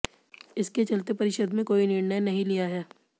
इसके चलते परिषद में कोई निर्णय नहीं लिया है